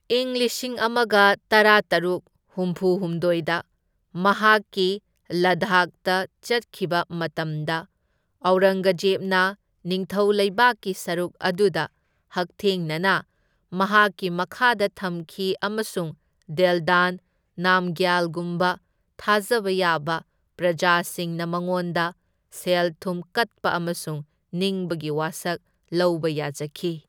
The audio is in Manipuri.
ꯏꯪ ꯂꯤꯁꯤꯡ ꯑꯃꯒ ꯇꯔꯥꯇꯔꯨꯛ ꯍꯨꯝꯐꯨ ꯍꯨꯝꯗꯣꯢꯗ ꯃꯍꯥꯛꯀꯤ ꯂꯗꯥꯈꯗ ꯆꯠꯈꯤꯕ ꯃꯇꯝꯗ ꯑꯧꯔꯪꯒꯖꯦꯕꯅ ꯅꯤꯡꯊꯧ ꯂꯩꯕꯥꯛꯀꯤ ꯁꯔꯨꯛ ꯑꯗꯨꯗ ꯍꯛꯊꯦꯡꯅꯅ ꯃꯍꯥꯛꯀꯤ ꯃꯈꯥꯗ ꯊꯝꯈꯤ ꯑꯃꯁꯨꯡ ꯗꯦꯜꯗꯥꯟ ꯅꯥꯝꯒ꯭ꯌꯥꯜꯒꯨꯝꯕ ꯊꯥꯖꯕ ꯌꯥꯕ ꯄ꯭ꯔꯖꯥꯁꯤꯡꯅ ꯃꯉꯣꯟꯗ ꯁꯦꯜ ꯊꯨꯝ ꯀꯠꯄ ꯑꯃꯁꯨꯡ ꯅꯤꯡꯕꯒꯤ ꯋꯥꯁꯛ ꯂꯧꯕ ꯌꯥꯖꯈꯤ꯫